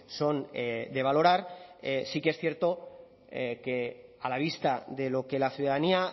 son de valorar sí que es cierto que a la vista de lo que la ciudadanía